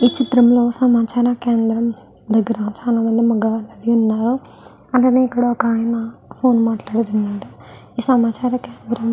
ఈ చిత్రం లో సమాచార కేంద్రం వద్ధ చాలామంది మగవారు ఉన్నారు. ఇక్కడ ఒక్కాయన ఫోన్ మాట్లాడుతున్నాడు. ఈ సమాచార కేంద్రం --